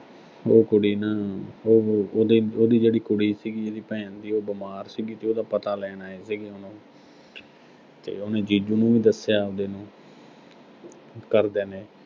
ਬਈ ਉਹ ਕੁੜੀ ਨਾ ਅਹ ਉਹੋ ਉਹਦੀ, ਉਹਦੀ ਜਿਹੜੀ ਕੁੜੀ ਸੀਗੀ, ਉਹਦੀ ਭੈਣ ਦੀ, ਉਹ ਬਿਮਾਰ ਸੀਗੀ ਤੇ ਉਹਦਾ ਪਤਾ ਲੈਣ ਆਏ ਸੀਗੇ ਹੁਣ ਉਹੋ ਤੇ ਉਹਨੇ ਜੀਜੂ ਨੂੰ ਵੀ ਦੱਸਿਆ ਆਬਦੇ ਨੂੰ ਘਰਦਿਆਂ ਨੇ